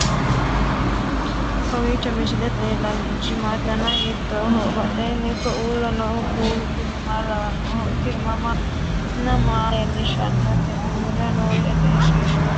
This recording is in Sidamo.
kowiicho misilete leellanorichi maati ? dana hiittooho ?abadhhenni ikko uulla noohu kuulu kuni maa lawannoho? tini minna maa leellishshannote uurre noori egenshshiishsha lawannori maati